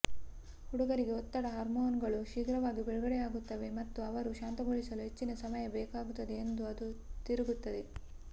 ಹುಡುಗರಿಗೆ ಒತ್ತಡ ಹಾರ್ಮೋನುಗಳು ಶೀಘ್ರವಾಗಿ ಬಿಡುಗಡೆಯಾಗುತ್ತವೆ ಮತ್ತು ಅವರು ಶಾಂತಗೊಳಿಸಲು ಹೆಚ್ಚಿನ ಸಮಯ ಬೇಕಾಗುತ್ತದೆ ಎಂದು ಅದು ತಿರುಗುತ್ತದೆ